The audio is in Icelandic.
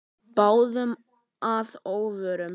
Báðum að óvörum.